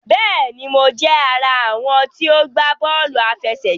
Béèni, Mo jé ará àwọn tí o gbà bóòlù àfẹsẹ̀gbá